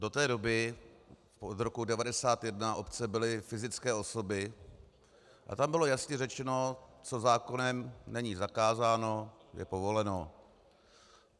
Do té doby, od roku 1991, obce byly fyzické osoby a tam bylo jasně řečeno, co zákonem není zakázáno, je povoleno.